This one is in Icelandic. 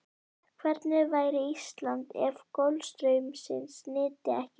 Hvernig væri Ísland ef golfstraumsins nyti ekki við?